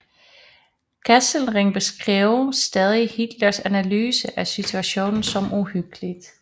Kesselring beskrev stadig Hitlers analyse af situationen som uhyggelig